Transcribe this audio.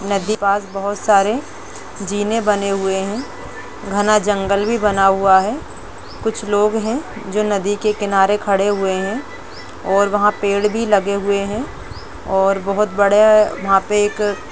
नदी पास बहोत सारे जीने बने हुए हैं। घना जंगल भी बना हुआ है। कुछ लोग हैं जो नदी किनारे खड़े हुए हैं और वहाँ पेड़ भी लगे हुए हैं और बहोत बड़ा वहाँ पे एक --